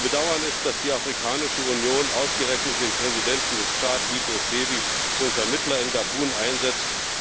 Zu bedauern ist, dass die Afrikanische Union ausgerechnet den Präsidenten des Tschad, Idriss Déby, zum Vermittler in Gabun einsetzt.